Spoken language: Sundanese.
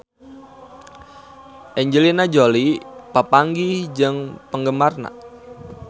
Angelina Jolie papanggih jeung penggemarna